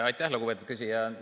Aitäh, lugupeetud küsija!